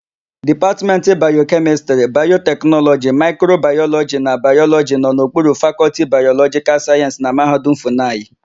Dipatmentị Bayokemịstịrị, Bayoteknọlọji, Maịkrobayọlọjị na Bayọlọjị nọ n'okpuru Fakọltị Bayọlọjịkal Sayensị na Mahadum Fụnayị.